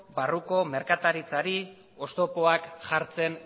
barruko merkataritzari oztopoak jartzen